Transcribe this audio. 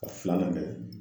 A filanan dɛ